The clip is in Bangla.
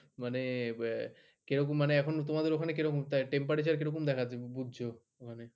মানে আহ কিরকম মানে এখন তোমাদের ওখানে কিরকম temperature কিরকম দেখা যাচ্ছে বুঝছ মানে